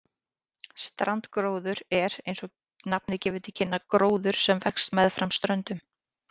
Strandgróður er, eins og nafnið gefur til kynna, gróður sem vex meðfram ströndum.